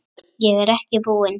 Ég er ekki búinn.